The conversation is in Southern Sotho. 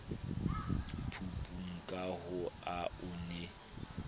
phupung ka ha o ne